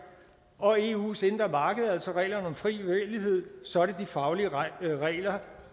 og eus indre marked altså reglerne om fri bevægelighed så er det de faglige regler